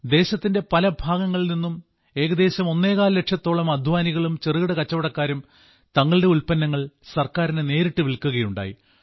ദേശത്തിന്റെ പലഭാഗങ്ങളിൽ നിന്ന് ഏകദേശം ഒന്നേകാൽ ലക്ഷത്തോളം അദ്ധ്വാനികളും ചെറുകിട കച്ചവടക്കാരും തങ്ങളുടെ ഉൽപ്പന്നങ്ങൾ ഗവൺമെന്റിന് നേരിട്ട് വിൽക്കുകയുണ്ടായി